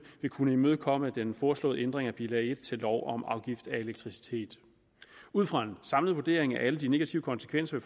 vil kunne imødekomme den foreslåede ændring af bilag en til lov om afgift af elektricitet ud fra en samlet vurdering af alle de negative konsekvenser